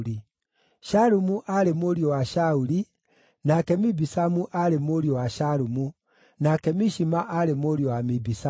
Shalumu aarĩ mũriũ wa Shauli, nake Mibisamu aarĩ mũriũ wa Shalumu, nake Mishima aarĩ mũriũ wa Mibisamu.